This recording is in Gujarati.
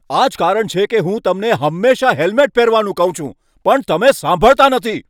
આ જ કારણ છે કે હું તમને હંમેશાં હેલ્મેટ પહેરવાનું કહું છું, પણ તમે સાંભળતા નથી.